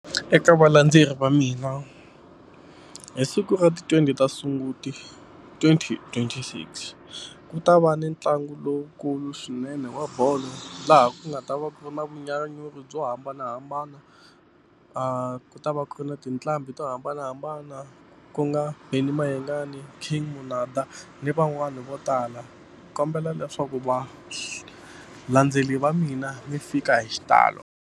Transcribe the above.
Eka valandzeleri va mina hi siku ra ti-twenty ta sunguti twenty twenty six ku ta va ni ntlangu lowukulu swinene wa bolo laha ku nga ta va ku ri na vunyanyuri byo hambanahambana a ku ta va ku ri na tinqambi to hambanahambana ku nga Benny Mayengani, King Monada ni van'wani vo tala ni kombela leswaku valandzeri va mina mi fika hi xitalo.